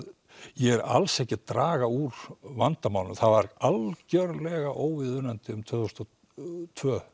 ég er alls ekki að draga úr vandamálinu það var algerlega óviðunandi um tvö þúsund og tvö